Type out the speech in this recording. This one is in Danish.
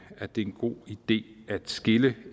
at det er en god idé at skille